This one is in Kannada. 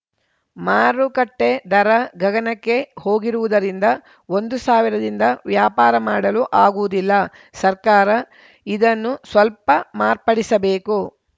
ಮಾರುಕಟ್ಟೆದರ ಗಗನಕ್ಕೆ ಹೋಗಿರುವುದರಿಂದ ಒಂದು ಸಾವಿರದಿಂದ ವ್ಯಾಪಾರ ಮಾಡಲು ಆಗುವುದಿಲ್ಲ ಸರ್ಕಾರ ಇದನ್ನು ಸ್ವಲ್ಪ ಮಾರ್ಪಡಿಸಬೇಕು